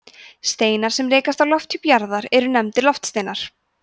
steinar sem rekast á lofthjúp jarðar eru nefndir loftsteinar